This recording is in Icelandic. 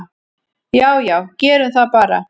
"""Já já, gerum það bara."""